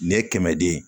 Ne ye kɛmɛden ye